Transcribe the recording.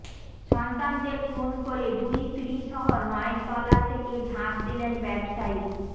সন্তানদের খুন করে দুই স্ত্রীসহ নয়তলা থেকে ঝাঁপ দিলেন ব্যবসায়ী